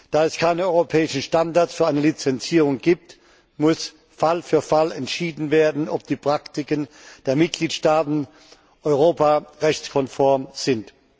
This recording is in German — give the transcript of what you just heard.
Da es keine europäischen Standards für eine Lizenzierung gibt, muss Fall für Fall entschieden werden, ob die Praktiken der Mitgliedstaaten europarechtskonform sind.